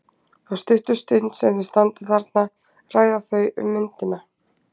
Þá stuttu stund sem þau standa þarna ræða þau um myndina.